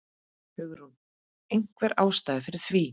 Hugrún: Einhver ástæða fyrir því?